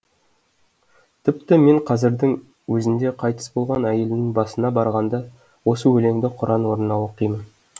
тіпті мен қазірдің өзінде қайтыс болған әйелімнің басына барғанда осы өлеңді құран орнына оқимын